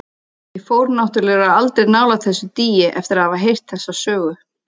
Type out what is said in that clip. Ég fór náttúrlega aldrei nálægt þessu dýi eftir að hafa heyrt þessa sögu.